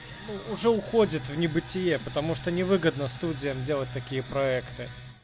уже уходит в небытие потому что невыгодно студия делать такие проекты